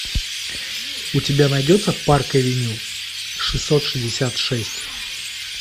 у тебя найдется парк авеню шестьсот шестьдесят шесть